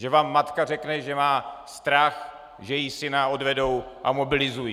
Že vám matka řekne, že má strach, že jí syna odvedou a mobilizují.